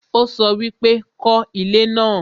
ó sọ wípé 'kọ́ ilé náà'